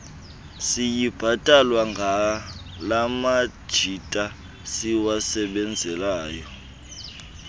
siyibhatalwa ngalamajita siwasebenzelayo